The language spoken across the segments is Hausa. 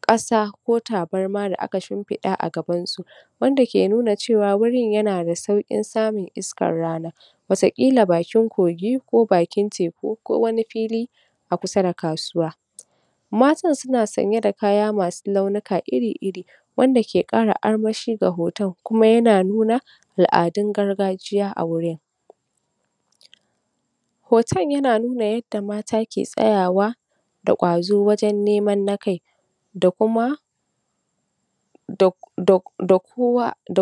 ƙasa ko tabarma da aka shimfiɗa a gaban su, wanda ke nuna cewa wurin na da suƙin samun iskar rana, wataƙila bakin kogi, ko bakin teku, ko wani fili a kusa da kasuwa. Matan suna sanye da kaya masu launuka iri-iri, wanda ke ƙara armashi ga hoton, kuma yana nuna al'adun gargajiya a wurin. Hoton yana nuna yadda mata ke tsayawa da ƙwazo wajan neman na kai, da kuma da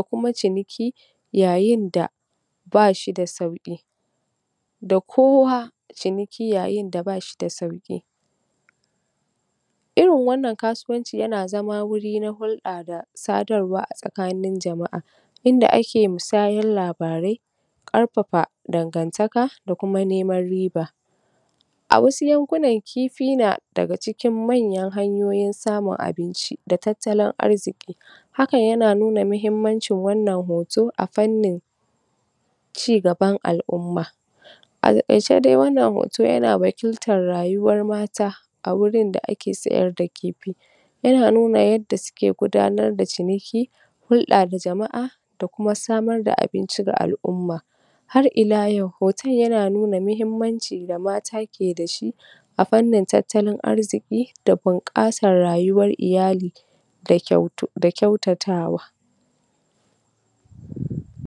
kuma ciniki yayin da bashi da sauƙi, da kowa ciniki, yayin da bashi da sauƙi. Irin wannan kasuwanci yana zama wuri na hulɗa da sadarwa tsakanin jama'a, inda ake musayan labarai, ƙarfafa dangantaka, da kuma neman riba. A wasu yankunan kifi na daga cikin manyan hanyoyin samun abinci, da tattalin arziki. Hakan yana nuna muhimmancin wannan hoto a fannin cigaban al'umma. A taƙaice dai wannan hoto yana wakiltar rayuwar mata, a wurin da ake sayar da kifi, yana nuna yadda suke gudanar da ciniki, hulɗa da jama'a, da kuma samar da abinci ga al'umma. Har ila yau, hoton yana nuna muhimmancin da mata ke dashi a fannin tattalin arziki, da bunƙasar rayuwar iyali, da kyautatawa.